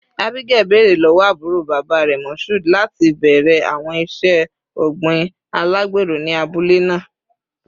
Abigail, beere lọwọ aburo baba rẹ, Mashood, lati bẹrẹ awọn iṣe ogbin alagbero ni abule naa